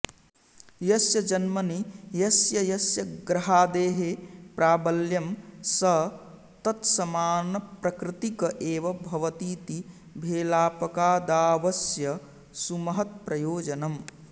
यस्य जन्मनि यस्य यस्य ग्रहादेः प्राबल्यं स तत्समानप्रकृतिक एव भवतीति भेलापकादावस्य सुमहत्प्रयोजनम्